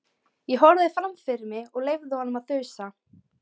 Ég horfði fram fyrir mig, leyfði honum að þusa.